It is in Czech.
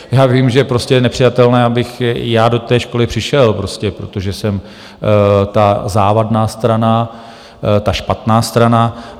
Já vím, že prostě je nepřijatelné, abych já do té školy přišel prostě, protože jsem ta závadná strana, ta špatná strana.